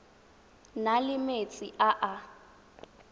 na le metsi a a